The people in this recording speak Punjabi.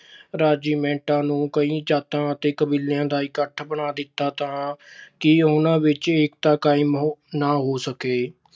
ਰੈਜੀਮੈਂਟਾਂ ਨੂੰ ਕਈ ਜਾਤਾਂ ਅਤੇ ਕਬੀਲਿਆਂ ਦਾ ਇੱਕਠ ਬਣਾ ਦਿੱਤਾ ਤਾਂ ਕਿ ਉਹਨਾਂ ਵਿੱਚ ਏਕਤਾ ਕਾਇਮ ਨਾ ਹੋ ਸਕੇ।